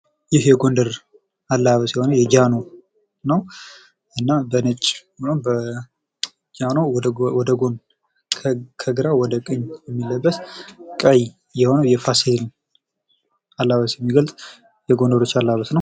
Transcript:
ይህ የጎንደር አለባበስ የሆነ የጃኖ በነጭ እና በጃኖ ወይም ወደ ጎን ወይም ከግራው ወደ ቀኝ የሚለብስ ቀይ የሆነ የፋሲል አለባበስን የሚገልጥ የጎንደሮች አለባበስ ነው።